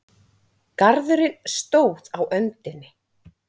Garðurinn stóð á öndinni.